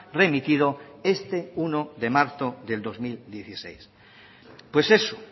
remitido este uno de marzo del dos mil dieciséis pues eso